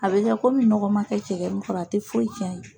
A bɛ kɛ komi nɔgɔ ma kɛ cɛgɛ min kɔrɔ a te foyi tiɲ'a ye.